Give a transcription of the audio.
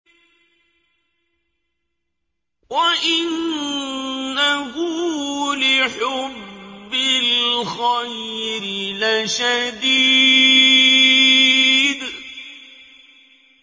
وَإِنَّهُ لِحُبِّ الْخَيْرِ لَشَدِيدٌ